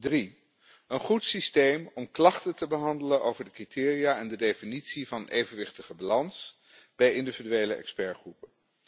Drie een goed systeem om klachten te behandelen over de criteria en de definitie van evenwichtige balans bij individuele expertgroepen.